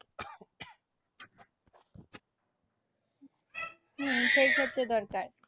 হম সেই ক্ষেত্রে দরকার